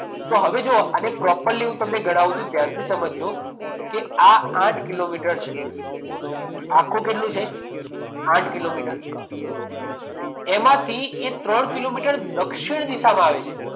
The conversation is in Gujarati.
તો હવે જુઓ આને પ્રોપરલી હું તમને ગણાવ છું. ધ્યાનથી સમજજો. કે આ આઠ કિલોમીટર છે. આખું કેટલું છે? આઠ કિલોમીટર. એમાંથી એ ત્રણ કિલોમીટર દક્ષિણ દિશામાં આવે છે.